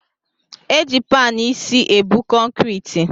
Eji panụ isi ebu kọnkriti